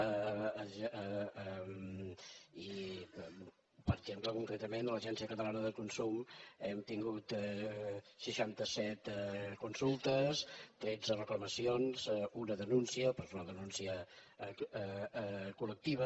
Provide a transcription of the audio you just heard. i per exemple concretament a l’agència catalana de consum hem tingut seixanta set consultes tretze reclamacions un denúncia però és una denúncia col·lectiva